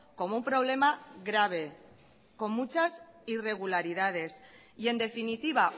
como un problema grave con muchas irregularidades y en definitiva